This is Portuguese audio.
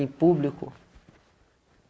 Em público?